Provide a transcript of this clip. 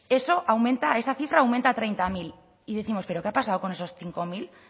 eso aumenta esa cifra aumenta a treinta mil y décimos pero qué ha pasado con esos cinco mil o sea